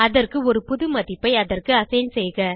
அதற்கு ஒரு புது மதிப்பை அதற்கு அசைன் செய்க